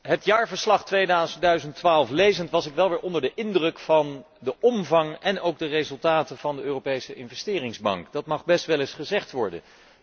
Het jaarverslag 2012 lezend was ik weer onder de indruk van de omvang en ook de resultaten van de Europese Investeringsbank. Dat mag best wel eens gezegd worden.